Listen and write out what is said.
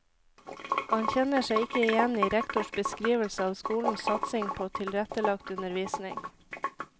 Han kjenner seg ikke igjen i rektors beskrivelse av skolens satsing på tilrettelagt undervisning.